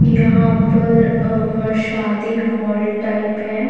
यहाँ पर अ शादी हॉल टाइप है।